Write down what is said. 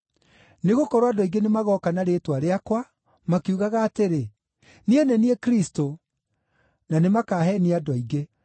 Nĩgũkorwo andũ aingĩ nĩmagooka na rĩĩtwa rĩakwa, makiugaga atĩrĩ, ‘Niĩ nĩ niĩ Kristũ,’ na nĩ makaheenia andũ aingĩ.